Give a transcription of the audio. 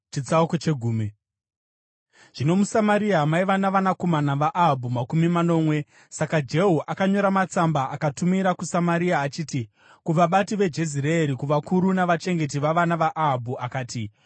Zvino muSamaria maiva navanakomana vaAhabhu makumi manomwe. Saka Jehu akanyora matsamba akatumira kuSamaria achiti: kuvabati veJezireeri, kuvakuru navachengeti vavana vaAhabhu. Akati,